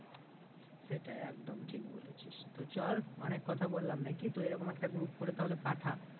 সেটাই একদম ঠিক বলেছিস, তো চল অনেক কথা বললাম নাকি তো এরকম একটা group করে তাহলে পাঠা।